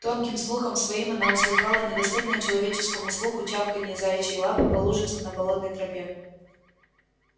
тонким слухом своим она услыхала недоступное человеческому слуху чавканье заячьей лапы по лужицам на болотной тропе